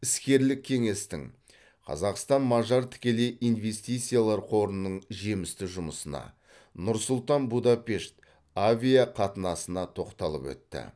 іскерлік кеңестің қазақстан мажар тікелей инвестициялар қорының жемісті жұмысына нұр сұлтан будапешт авиақатынасына тоқталып өтті